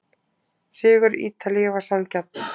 Sigur Ítalíu var sanngjarn.